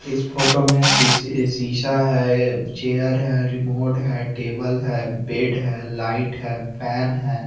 इस फोटो में सीसी सीसा है ये चेयर है रिमोट है टेबल है बेड है लाइट है फेन है।